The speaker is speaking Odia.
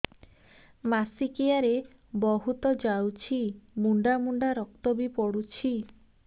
ମାସିକିଆ ରେ ବହୁତ ଯାଉଛି ମୁଣ୍ଡା ମୁଣ୍ଡା ରକ୍ତ ବି ପଡୁଛି